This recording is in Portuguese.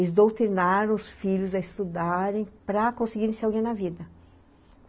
eles doutrinaram os filhos a estudarem para conseguirem ser alguém na vida.